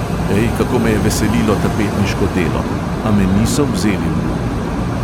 Ej, kako me je veselilo tapetniško delo, a me niso vzeli v uk.